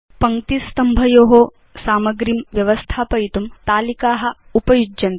पङ्क्ति स्तंभयो सामग्रीं व्यवस्थापयितुं तालिका उपयुज्यन्ते